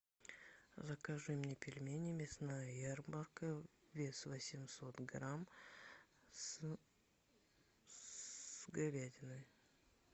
закажи мне пельмени мясная ярмарка вес восемьсот грамм с говядиной